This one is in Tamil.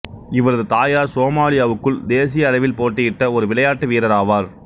இவரது தாயார் சோமாலியாவுக்குள் தேசிய அளவில் போட்டியிட்ட ஒரு விளையாட்டு வீரராவார்